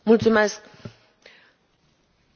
Sunt împotriva pedepsei cu moartea.